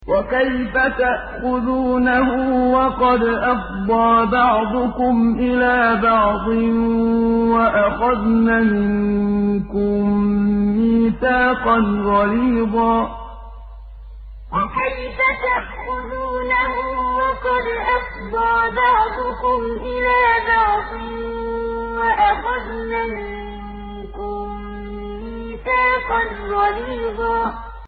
وَكَيْفَ تَأْخُذُونَهُ وَقَدْ أَفْضَىٰ بَعْضُكُمْ إِلَىٰ بَعْضٍ وَأَخَذْنَ مِنكُم مِّيثَاقًا غَلِيظًا وَكَيْفَ تَأْخُذُونَهُ وَقَدْ أَفْضَىٰ بَعْضُكُمْ إِلَىٰ بَعْضٍ وَأَخَذْنَ مِنكُم مِّيثَاقًا غَلِيظًا